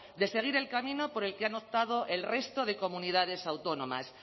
de seguir el camino por el que han optado el resto de comunidades autónomas